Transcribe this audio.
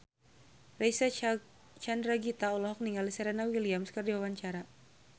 Reysa Chandragitta olohok ningali Serena Williams keur diwawancara